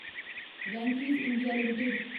Venky's India limited